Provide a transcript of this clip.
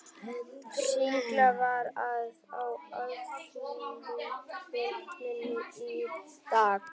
Sigurlína, hvað er á áætluninni minni í dag?